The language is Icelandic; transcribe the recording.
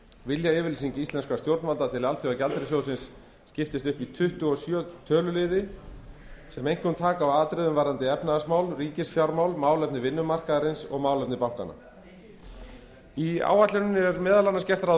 viljayfirlýsing íslenskra stjórnvalda til alþjóðagjaldeyrissjóðsins skiptist upp í tuttugu og sjö töluliði sem einkum taka á atriðum varðandi efnahagsmál ríkisfjármál málefni vinnumarkaðarins og málefni bankanna í áætluninni er meðal annars gert ráð